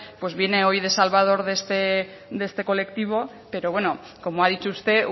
viene hoy de salvador de este colectivo pero bueno como ha dicho usted